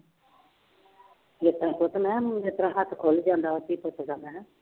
ਮੈਂ ਕਿਹਾ ਇਸ ਤਰ੍ਹਾਂ ਹੱਥ ਖੁੱਲ ਜਾਂਦਾ ਧੀ ਪੁੱਤ ਦਾ ਹੈਂ